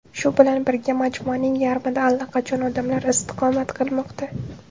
Shu bilan birga, majmuaning yarmida allaqachon odamlar istiqomat qilmoqda.